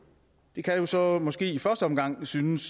det kan jo så måske i første omgang synes